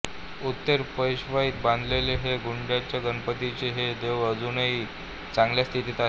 उत्तर पेशवाईत बांधलेले हे गुंडाच्या गणपतीचे हे देऊळ अजूनही चांगल्या स्थितीत आहे